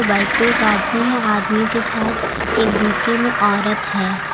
वो बाइक पे एक आदमी है आदमी के साथ एक बुर्के में औरत है।